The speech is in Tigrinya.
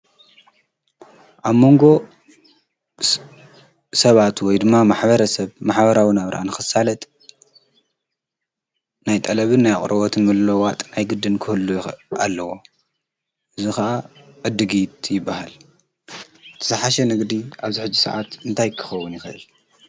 ኣብ መንጎ ሰባቱወይ ድማ ማኅበረ ሰብ ማሓበራዉን ኣብ ርአን ክሳለጥ ናይ ጠለብን ናይ ቕረወትን በሎዋጥ ኣይግድን ክህሉ ኣለዎ ዝኸዓ እድጊት ይበሃል ተስሓሸ ንግዲ ኣብ ዝኅጅ ሰዓት እንታይክኸዉን ይኸል